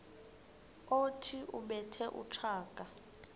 othi ubethe utshaka